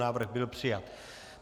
Návrh byl přijat.